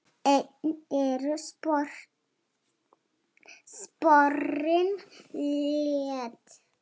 Enn eru sporin létt.